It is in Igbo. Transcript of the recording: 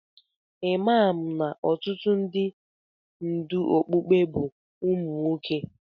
Imam na ọtụtụ ndị ndú okpukpe bụ ụmụ nwoke.